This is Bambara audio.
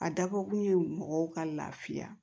A dabɔ kun ye mɔgɔw ka lafiya